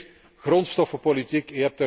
Punt vier, grondstoffenpolitiek.